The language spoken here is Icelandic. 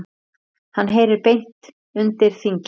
Hann heyri beint undir þingið.